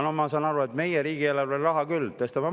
Ma saan aru, et meie riigieelarves on raha küll, tõstame makse …